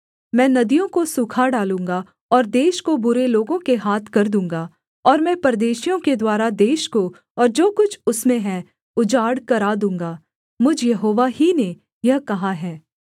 मैं नदियों को सूखा डालूँगा और देश को बुरे लोगों के हाथ कर दूँगा और मैं परदेशियों के द्वारा देश को और जो कुछ उसमें है उजाड़ करा दूँगा मुझ यहोवा ही ने यह कहा है